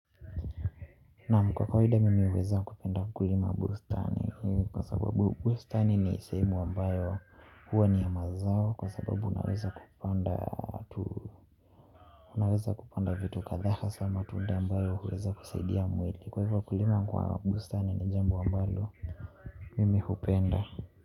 Naam kwa kawaida mimi huweza kupenda kulima bustani kwa sababu bustani ni sehemu ambayo huwa ni ya mazao kwa sababu naweza kupanda vitu kadhaa hasa matunda ambayo huweza kusaidia mwili kwa hivyo kulima kwa bustani ni jambo ambalo mimi hupenda.